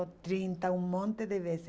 trinta, um monte de vezes.